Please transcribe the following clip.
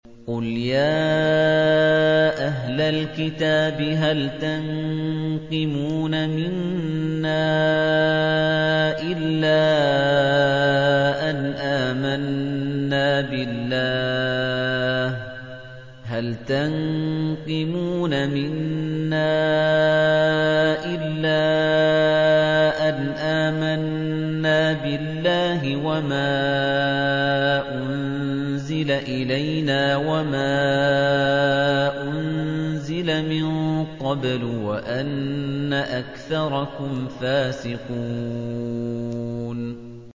قُلْ يَا أَهْلَ الْكِتَابِ هَلْ تَنقِمُونَ مِنَّا إِلَّا أَنْ آمَنَّا بِاللَّهِ وَمَا أُنزِلَ إِلَيْنَا وَمَا أُنزِلَ مِن قَبْلُ وَأَنَّ أَكْثَرَكُمْ فَاسِقُونَ